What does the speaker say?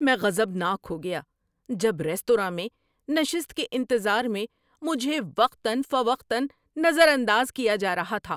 میں غضبناک ہو گیا جب ریستوراں میں نشست کے انتظار میں مجھے وقتاً فوقتاً نظر انداز کیا جا رہا تھا۔